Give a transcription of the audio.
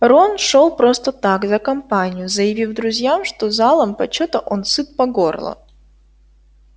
рон шёл просто так за компанию заявив друзьям что залом почёта он сыт по горло